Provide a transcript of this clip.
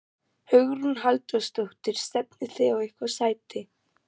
Hugrún Halldórsdóttir: Stefnið þið á eitthvað sæti?